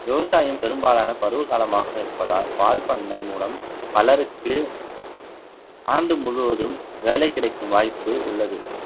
விவசாயம் பெரும்பாலான பருவ காலமாக இருப்பதால் பால் பண்ணை மூலம் பலருக்கு ஆண்டு முழுவதும் வேலை கிடைக்கும் வாய்ப்பு உள்ளது